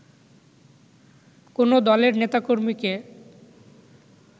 কোন দলের নেতাকর্মীকে